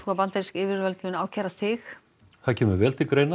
að bandarísk yfirvöld muni ákæra þig það kemur vel til greina